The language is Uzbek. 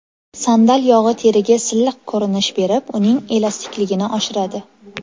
Sandal yog‘i teriga silliq ko‘rinish berib, uning elastikligini oshiradi.